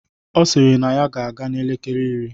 Ọ sịrị na ya ga-aga n'elekele iri.